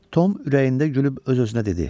Tom ürəyində gülüb öz-özünə dedi.